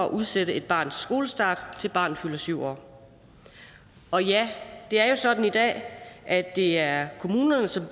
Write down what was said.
at udsætte et barns skolestart til barnet fylder syv år og ja det er jo sådan i dag at det er kommunerne som